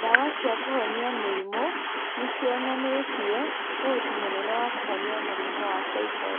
Ndawa cia kũhonia mĩrimũ nĩ cionanĩtie ũhoti mũnene wa kũhonia mũrimũ wa typhoid.